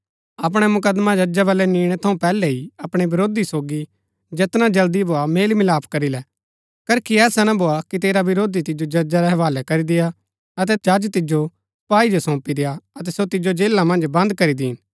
अपणै मुकदमा जजा बलै निणै थऊँ पैहलै ही अपणै विरोधी सोगी जैतना जल्दी भोआ मेल मिलाप करी लै करखी ऐसा ना भोआ कि तेरा वरोधी तिजो जजा रै हवालै करी देय्आ अतै जज तिजो सपाई जो सोंपी देय्आ अतै सो तिजो जेला मन्ज बंद करी दीन